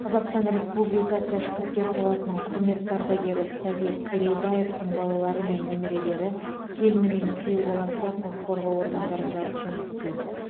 қазақстан республикасы ішкі істер саласының құрметті ардагері совет керейбаевтың балалары мен немерелері келіні мен күйеу баласы құқық қорғау органдарында жұмыс істейді